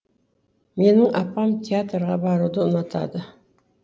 менің апам театрға баруды ұнатады